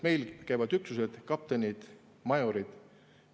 Meil käivad üksused, kaptenid, majorid.